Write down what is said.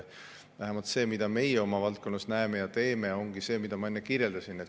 Vähemalt see, mida meie oma valdkonnas näeme ja teeme, ongi see, mida ma enne kirjeldasin.